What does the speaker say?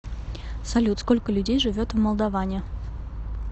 салют сколько людей живет в молдоване